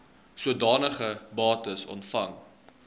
sodanige bates ontvang